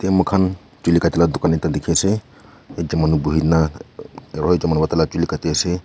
mukan juli katei laka dukan ekta diki ase yete manu buihi na uhuh aro ekta manu vra taila juli kati ase.